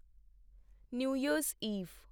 new year's Eve